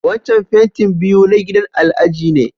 Wancan fentin biyu na gidan Alhaji ne.